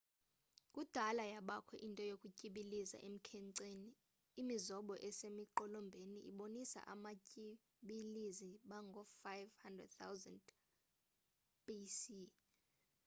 kudala yabakho into yokutyibiliza emkhenceni imizobo esemiqolombeni ibonisa abatyibilizi bangoo-5000 bc